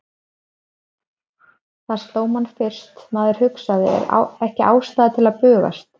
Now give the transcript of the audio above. Það sló mann fyrst, maður hugsaði, er ekki ástæða til að bugast?